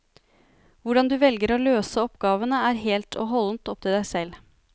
Hvordan du velger å løse oppgavene, er helt og holdent opp til deg selv.